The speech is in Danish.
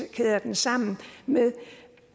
kæder den sammen med